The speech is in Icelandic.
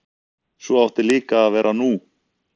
Svo átti líka að vera nú.